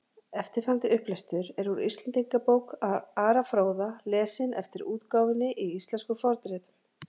eftirfarandi upplestur er úr íslendingabók ara fróða lesinn eftir útgáfunni í íslenskum fornritum